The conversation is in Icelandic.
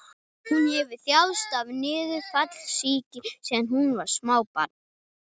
Hún hefur þjáðst af niðurfallssýki síðan hún var smábarn.